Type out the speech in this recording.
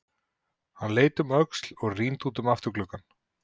Hann leit um öxl og rýndi út um afturgluggann.